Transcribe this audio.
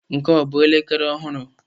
Nke a ọ bụ elekere ọhụrụ?